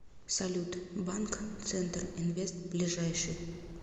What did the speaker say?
салют банк центр инвест ближайший